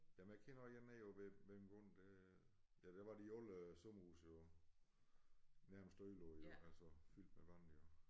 Jamen jeg kender én oppe ved ja der var de alle sommerhuse jo nærmest ødelagte jo altså fyldt med vand jo